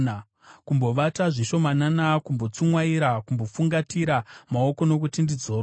Kumbovata zvishomanana, kumbotsumwaira, kumbofungatira maoko kuti ndizorore,